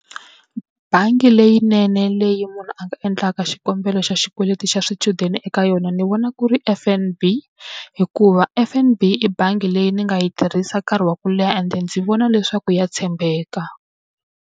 Bangi leyinene leyi munhu a nga endlaka xikombelo xa xikweleti xa swichudeni eka yona ni vona ku ri F_N_B, hikuva F_N_B i bangi leyi ni nga yi tirhisa nkarhi wa ku leha ende ndzi vona leswaku ya tshembeka.